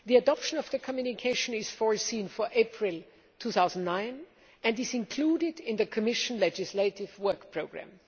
The adoption of the communication is foreseen for April 2009 and is included in the Commission's legislative work programme.